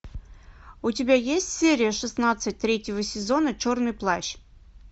у тебя есть серия шестнадцать третьего сезона черный плащ